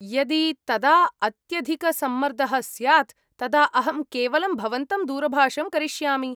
यदि तदा अत्यधिकसम्मर्दः स्यात् तदा अहं केवलं भवन्तं दूरभाषं करिष्यामि।